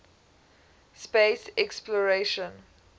space exploration